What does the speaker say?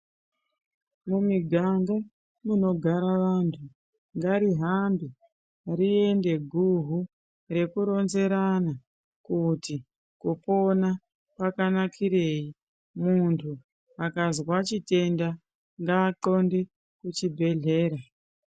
Mumiganga munogara vantu ngarihambe guhu rekuronzerana kuti kupona kwakanakirei kuti muntu akazwa chitenda ngaaxonde kuchibhedhlera.